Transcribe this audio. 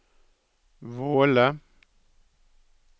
Våle